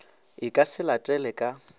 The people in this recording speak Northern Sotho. e ka se latele ka